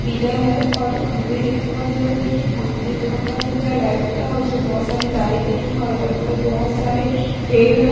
Pillar है और खंबे है और इधर देखिए ख एक खंबा दिखा रहा है लाइट का और इसपे बोहोत सारे तारे गई हैं और अगल बगल बोहोत सारे पेड़ है।